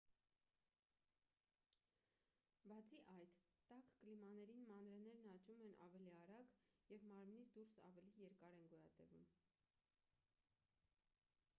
բացի այդ տաք կլիմաներին մանրէներն աճում են ավելի արագ և մարմնից դուրս ավելի երկար են գոյատևում